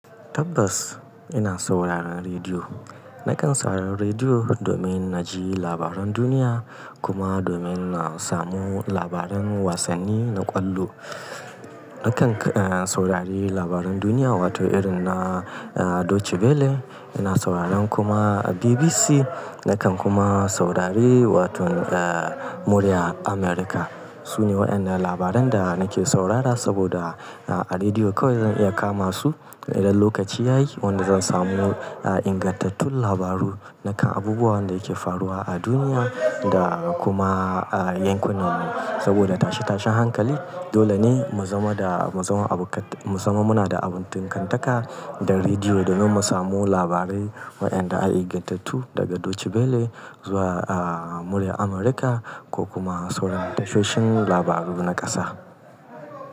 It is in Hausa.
Tabbas ina sauraron rediyo. Nakan saurari rediyo domin na ji labaran duniya kuma domin na samu labaran wasanni na ƙwallo. Nakan, eh, saurari labaran duniya wato irin na, eh, Deutsche belle, ina sauraron kuma BBC, nakan kuma saurari wato, eh, Murya Amurka. Sune waɗannan labaran da nake saurara saboda a rediyo kawai zan iya kama su idan lokaci ya yi. Wanda zan samu, eh, ingantattun labaru na kan abubuwan da yake faruwa a duniya da kuma, eh, yankunan mu. Saboda tashe tashen hankali dole ne mu zama da, mu zama abu ka-, mu zama muna da abun tinkantaka da rediyo domin mu samu labarai waɗanda a ingantattu daga Deutsche belle zuwa, eh, Murya Amurka ko kuma sauraron tashoshin labaru na ƙasa.